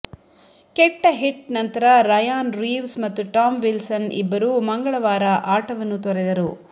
ಕೆಟ್ಟ ಹಿಟ್ ನಂತರ Ryan Reeves ಮತ್ತು ಟಾಮ್ ವಿಲ್ಸನ್ ಇಬ್ಬರೂ ಮಂಗಳವಾರ ಆಟವನ್ನು ತೊರೆದರು